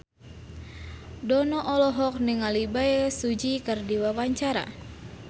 Dono olohok ningali Bae Su Ji keur diwawancara